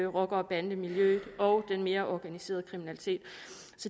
rocker og bandemiljøet og den mere organiserede kriminalitet